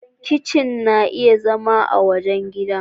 Kitchen na iya zama a wajen gidan.